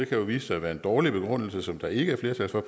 vise sig at være en dårlig begrundelse som der ikke er flertal for